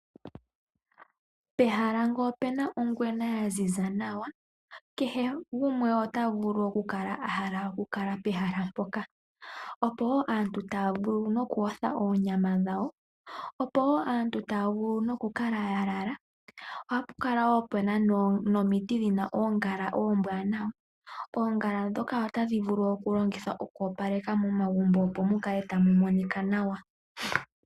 Pehala ngele opuna ongwena ya ziza nawa, kehe gumwe ota vulu oku kala a hala okukala pehala mpoka. Opo woo aantu taya noku yotha oonyama dhawo, opo woo aantu taya vulu ku kala ya lala, ohapu kala wo puna nomiti dhina oongala oombwanawa. Oongala ndhoka otadhi vulu okulongithwa okoopaleka momagumbo opo mu kale tamu monika nawa.